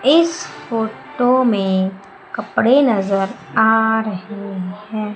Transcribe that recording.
इस फोटो में कपड़े नजर आ रहे हैं।